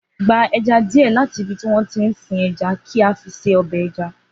Gba ẹja díẹ̀ láti ibi tí wọ́n tí ń sin ẹja kí a fi ṣe ọbẹ̀ ẹja